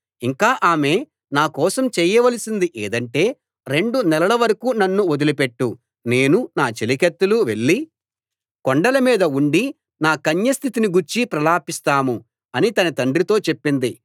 ఇంకా ఆమె నా కోసం చేయవలసింది ఏదంటే రెండు నెలల వరకూ నన్ను వదిలిపెట్టు నేను నా చెలికత్తెలు వెళ్లి కొండలమీద ఉండి నా కన్యస్థితిని గూర్చి ప్రలాపిస్తాము అని తన తండ్రితో చెప్పింది